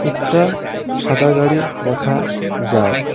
একটা সাদা গাড়ি দেখা যায়।